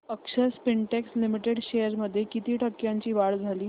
अक्षर Spintex limited shares मध्ये किती टक्क्यांची वाढ झाली